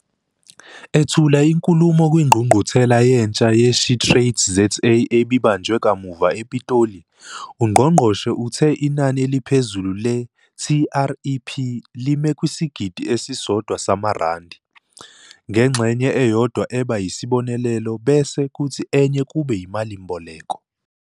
Ethula inkulumo kwiNgqungquthela Yentsha ye-SheTradesZA ebibanjwe kamuva ePitoli, ungqongqoshe uthe inani eliphezulu le-TREP lime kwisigidi esisodwa samarandi, ngengxenye eyodwa eba yisibonelelo bese kuthi enye kube imalimboleko.